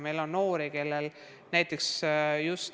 Meil on selliseid noori.